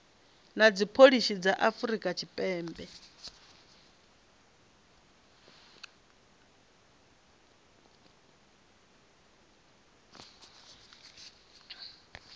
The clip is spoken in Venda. na dzipholisi dza afrika tshipembe